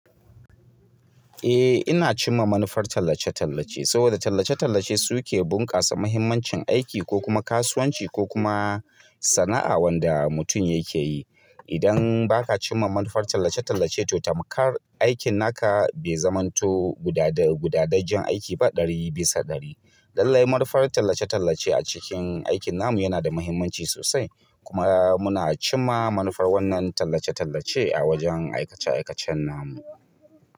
Eh ina cimma manufar tallace-tallace saboda tallace-tallace suke bunƙasa muhimmancin aiki ko kuma kasuwanci ko kuma sana'a wanda mutum yake yi. Idan ba ka cimma manufar tallace-tallace to tamkar aikin naka bai zamanto guda-gudajen aiki ba ɗari bisa ɗari. Lallai manufar tallace-tallace a cikin aikin namu yana da muhimmanci sosai kuma muna cimma manufar wannan tallace-tallace a wajen aikace-aikacen namu.